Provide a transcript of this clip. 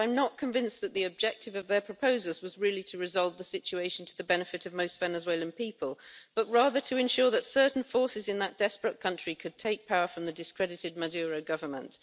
I'm not convinced that the objective of their proposals was really to resolve the situation to the benefit of most Venezuelan people, but rather to ensure that certain forces in that desperate country could take power from the discredited Maduro government.